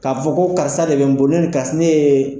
K'a fɔ ko karisa de bɛ n bolo ne ni ne ye.